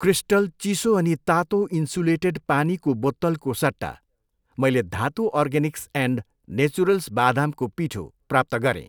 Crystal चिसो अनि तातो इन्सुलेटेड पानीको बोत्तलको सट्टा, मैले धातु अर्गेनिक्स एन्ड नेचुरल्स बादामको पिठो प्राप्त गरेँ।